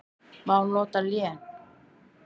Má nota lén